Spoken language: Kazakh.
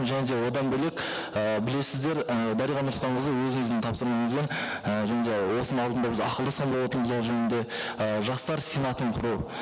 және де одан бөлек ыыы білесіздер і дариға нұрсұлтанқызы өзіңіздің тапсырмаңызбен і және де осының алдында біз ақылдасқан болатынбыз ол жөнінде ы жастар сенатын құру